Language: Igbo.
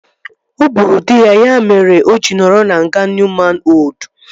O gburu dị ya, ya mere o ji nọrọ na nga Nuuman Oldu